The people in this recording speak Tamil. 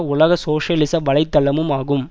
உலக சோசியலிச வலை தளமும் ஆகும்